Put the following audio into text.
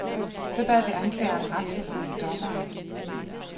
Så vi bad anklagerne retsforfølge dommeren.